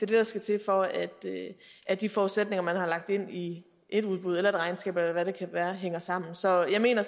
det der skal til for at de forudsætninger man har lagt ind i et udbud eller et regnskab eller hvad det kan være hænger sammen så jeg mener